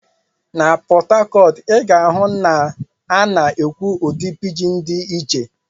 Na Port Harcourt, ị ga-ahụ na a na-ekwu ụdị pidgin dị iche.